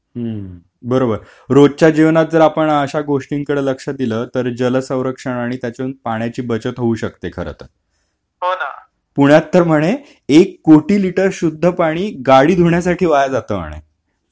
हम्म बरोबर रोजच्या जीवनात जर आपण अश्या गोष्टींकडे लक्ष दील तर जल सौरक्षण आणि त्यातून पाण्याची बचत होऊ शकते खरं तर हो ना पुण्यात तर म्हणे एक कोटी लीटर शुद्ध पाणी गाडी धुण्यासाठी वाया जात म्हणे...